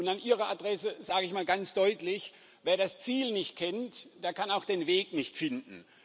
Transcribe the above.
Und an Ihre Adresse sage ich mal ganz deutlich Wer das Ziel nicht kennt¸ der kann auch den Weg nicht finden.